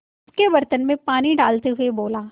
उसके बर्तन में पानी डालते हुए बोला